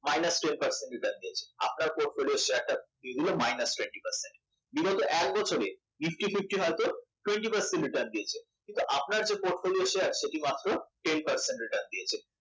minus twenty percent return দিয়েছে আপনার যে portfolio শেয়ার minus এগুলো বিগত এক বছরে হয়তো nifty fifty হয়তো twenty percent return দিয়েছে আপনার যে portfolio সেটি মাত্র ten percent return দিয়েছে